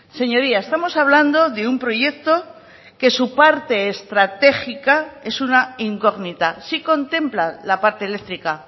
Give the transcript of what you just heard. señoría estamos hablando de un proyecto que su parte estratégica es una incógnita sí contempla la parte eléctrica